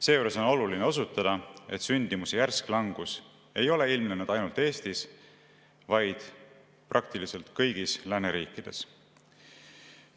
Seejuures on oluline osutada, et sündimuse järsk langus ei ole ilmnenud ainult Eestis, vaid praktiliselt kõigis lääneriikides.